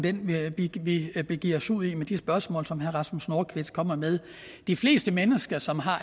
vi begiver os ud i med de spørgsmål som herre rasmus nordqvist kommer med de fleste mennesker som har